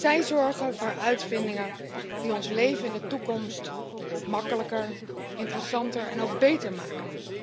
Zij zorgen voor uitvindingen die ons leven in de toekomst makkelijker, interessanter en ook beter maken.